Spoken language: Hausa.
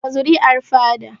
Daga zuri'ar fada